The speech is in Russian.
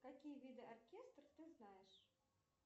какие виды оркестр ты знаешь